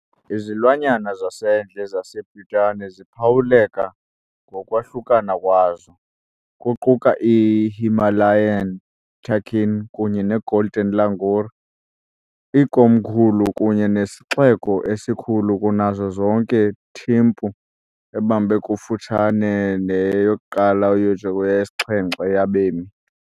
Izilwanyana zasendle zaseBhutan ziphawuleka ngokwahlukana kwazo, kuquka i- Himalayan takin kunye ne- golden langur . Ikomkhulu kunye nesixeko esikhulu kunazo zonke Thimphu, ebambe kufutshane ne-1 ukuyotsho kweyesi-7 yabemi.